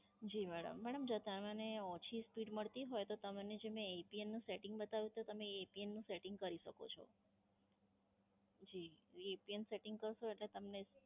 જી madam. Madam, તમને ઓછી Speed મળતી હોય, તો તમને જે મેં APN નું Setting બતાવ્યું એ APN નું Setting કરી શકો છો.